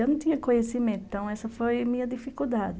E eu não tinha conhecimento, então essa foi a minha dificuldade.